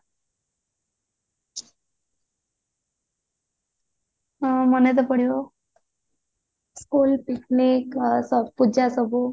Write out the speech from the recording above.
ହଁ ମାନେ ତ ପଡିବ school picnic ପୂଜା ସବୁ